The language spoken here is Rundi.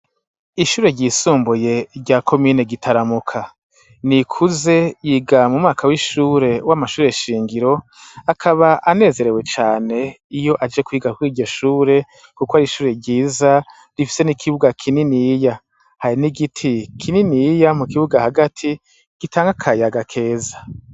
Ishure ry'isumbuye rya komine Gitaramuka .Nikuze yiga mu mwaka w'ishure w'amashure shingiro akaba anezerewe cane iyo aje kwiga kw'iryo shure kuko ar'ishure ryiza rifise n'ikibuga kininiya hari nigiti kininiya mu kibuga hagati ,gitanka kayaga keza.